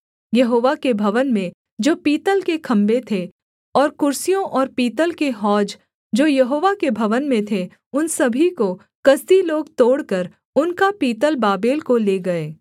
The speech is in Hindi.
यहोवा के भवन में जो पीतल के खम्भे थे और कुर्सियों और पीतल के हौज जो यहोवा के भवन में थे उन सभी को कसदी लोग तोड़कर उनका पीतल बाबेल को ले गए